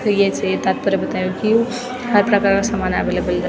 फिर येसे तत्पर्य बतयुं की यू हर प्रकारों समान अवेलेबल रै।